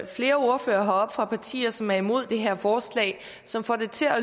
flere ordførere heroppe fra partier som er imod det her forslag og som får det til at